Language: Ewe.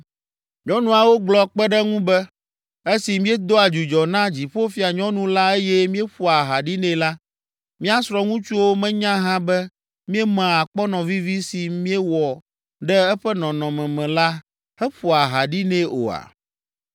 Nyɔnuawo gblɔ kpe ɖe ŋu be, “Esi míedoa dzudzɔ na Dziƒofianyɔnu la eye míeƒoa aha ɖi nɛ la, mía srɔ̃ŋutsuwo menya hã be míemea akpɔnɔ vivi si míewɔ ɖe eƒe nɔnɔme me la heƒoa aha ɖi nɛ oa?”